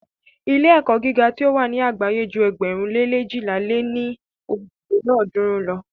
Ilé-ẹ̀kọ́ gíga tí o wà ni àgbáyé ju ėgbẹ̀rún lé leéjìlá lé ní ojì lélọ́ọ̀dúnrún lo.